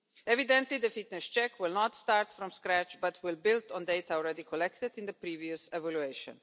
Evidently the fitness check will not start from scratch, but will build on data already collected in the previous evaluation.